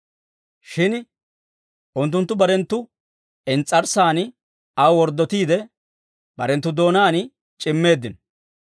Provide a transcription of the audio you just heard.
Shin unttunttu barenttu ins's'arssan aw worddotiide, barenttu doonaan c'immeeddino.